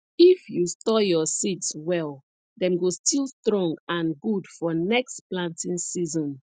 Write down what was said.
if you store your seeds well dem go still strong and good for next planting season